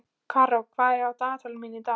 Karó, hvað er á dagatalinu mínu í dag?